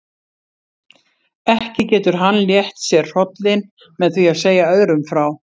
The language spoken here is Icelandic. Ekki getur hann létt sér hrollinn með því að segja öðrum frá.